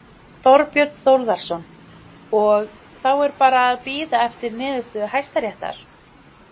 Þorbjörn Þórðarson: Og, þá er bara að bíða eftir niðurstöðu Hæstaréttar?